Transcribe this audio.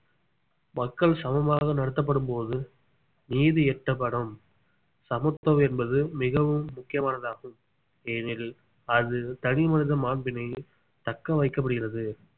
மக்கள் சமமாக நடத்தப்படும் போது நீதி எட்டப்படும் சமத்துவம் என்பது மிகவும் முக்கியமானதாகும் ஏனெனில் அது தனி மனித மாண்பினை தக்க வைக்கப்படுகிறது